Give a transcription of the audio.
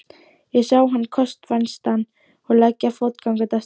Ég sá þann kost vænstan að leggja fótgangandi af stað.